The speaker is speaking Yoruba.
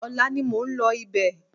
Ọ̀la ni mò ń lọ ibẹ̀